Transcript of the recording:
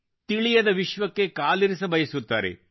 ತಿಳಿಯದ ವಿಶ್ವಕ್ಕೆ ಕಾಲಿರಿಸಬಯಸುತ್ತಾರೆ